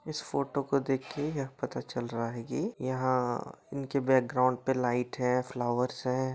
इस फोटो को देखे यह पता चल रहा है की यहाँ इनके बैकग्राउन्ड पे लाइट है फ्लावर्स है।